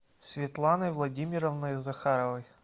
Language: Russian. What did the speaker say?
светланой владимировной захаровой